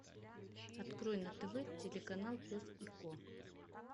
открой на тв телеканал пес и ко